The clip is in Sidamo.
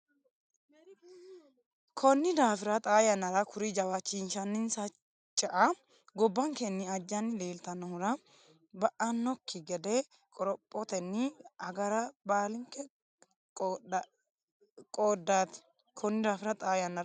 Konni daafira xaa yannara kuri jawaachishinsa cea gobbankenni ajjanni leeltannohura ba annokki gede qorophotenni agara baalinke qoodaati Konni daafira xaa yannara.